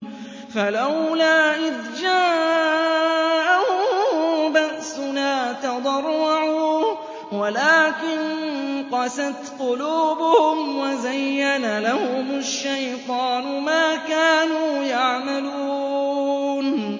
فَلَوْلَا إِذْ جَاءَهُم بَأْسُنَا تَضَرَّعُوا وَلَٰكِن قَسَتْ قُلُوبُهُمْ وَزَيَّنَ لَهُمُ الشَّيْطَانُ مَا كَانُوا يَعْمَلُونَ